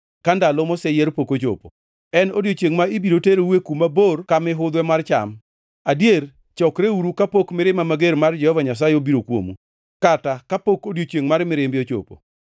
ka ndalo moseyier pok ochopo en odiechiengʼ ma ibiro teroue kuma bor ka mihudhwe mar cham. Adier, chokreuru kapok mirima mager mar Jehova Nyasaye obiro kuomu, kata kapok odiechiengʼ mar mirimbe ochopo.